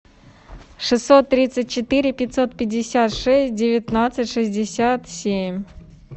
шестьсот тридцать четыре пятьсот пятьдесят шесть девятнадцать шестьдесят семь